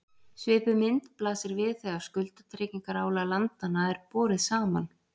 Svipuð mynd blasir við þegar skuldatryggingarálag landanna er borið saman.